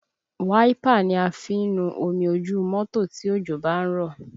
Wáípà ni a fi ń nu omi ojú mọ́tò tí òjò bá ń rọ̀